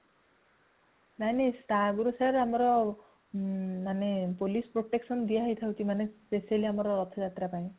ନାଇଁ ନାଇଁ ସିର ତା ଆଗରୁ ଆମର police protection ଦିଆ ହେଉଛି ମାନେ specially ଆମର ରଥ ଯାତ୍ରା ପାଇଁ